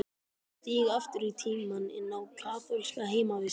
Ég stíg aftur í tímann, inn á kaþólska heimavist.